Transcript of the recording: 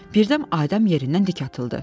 Birdən Adəm yerindən dik atıldı.